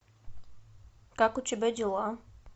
как у тебя дела